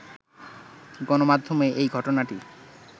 গণমাধ্যমে এই ঘটনাটি